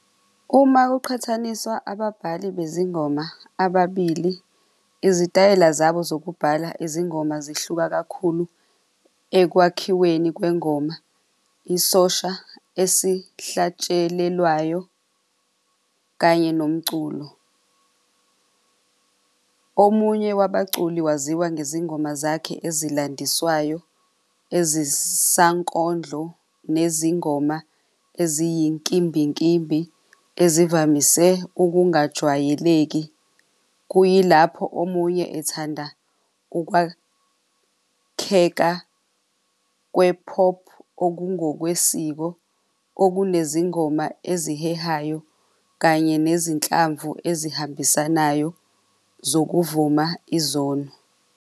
Uma kuqhathaniswa ababhali bezingoma ababili, izitayela zabo zokubhala izingoma zihluka kakhulu ekwakhiweni kwengoma. Isosha esihlatshelelwayo kanye nomculo. Omunye wabaculi waziwa nezingoma zakhe ezilandiswayo, ezisankondlo, nezingoma eziyinkimbinkimbi ezivamese ukungajwayeleki. Kuyilapho omunye ethanda ukwakheka kwe-pop, okungokwesiko okunezingoma ezihehayo, kanye nezinhlamvu ezihambisanayo zokuvuma izono.